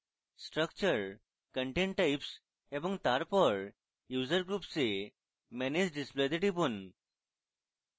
structure content types এবং তারপর user groups এ manage display তে টিপুন